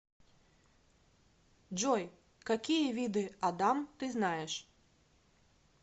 джой какие виды адам ты знаешь